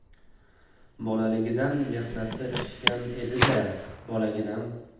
Bolaligidan mehnatda pishgan edi-da, bolaginam.